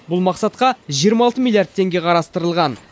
бұл мақсатқа жиырма алты миллиард теңге қарастырылған